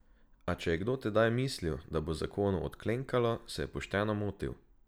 A če je kdo tedaj mislil, da bo zakonu odklenkalo, se je pošteno motil.